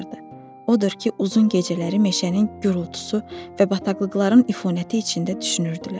Odur ki, uzun gecələri meşənin gurultusu və bataqlıqların üfunəti içində düşünürdülər.